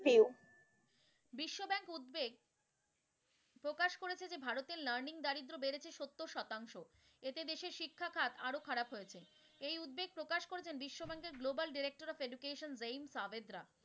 Overview বিশ্ব bank উদ্বেগ প্রকাশ করেছে যে ভারতে learning দারিদ্র বেড়েছে সত্তর শতাংশ, এতে দেশের শিক্ষাখাত আরও খারাপ হয়েছে। এই উদ্বেগ প্রকাশ করেছেন বিশ্বব্যাংকের global director of education Jaime Sabedra.